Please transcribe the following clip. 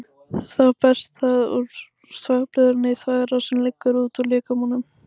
Þá berst það úr þvagblöðrunni í þvagrás sem liggur út úr líkamanum.